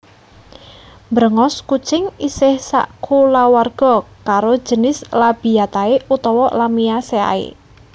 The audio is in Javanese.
Bréngos kucing isih sakulawarga karo jinis Labiatae utawa Lamiaceae